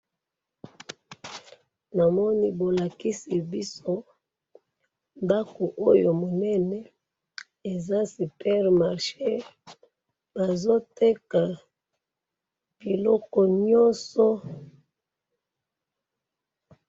Awa bolakisi biso awa ndako munene ya Super marché esika bazo teka biloko Nyoso.